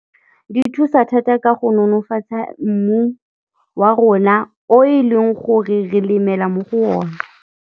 Di thusa thata ka go nonofatsa mmu wa rona o e leng gore re lemela mo go one.